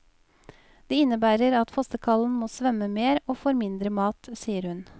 Det innebærer at fossekallen må svømme mer og får mindre mat, sier hun.